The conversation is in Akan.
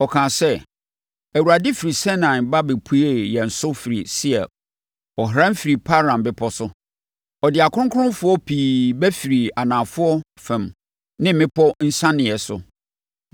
Ɔkaa sɛ, “ Awurade firi Sinai ba bɛpuee yɛn so firii Seir; ɔhran firii Paran bepɔ so. Ɔde akronkronfoɔ pii ba firii anafoɔ fam ne mmepɔ nsianeɛ so.